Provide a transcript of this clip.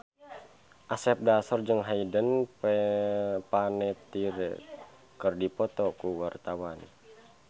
Asep Darso jeung Hayden Panettiere keur dipoto ku wartawan